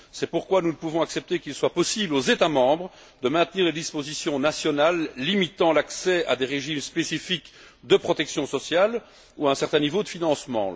C'est pourquoi nous ne pouvons accepter qu'il soit possible aux États membres de maintenir les dispositions nationales limitant l'accès à des régimes spécifiques de protection sociale ou à un certain niveau de financement.